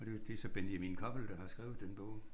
Og det er så Benjamin Koppel der har skrevet den bog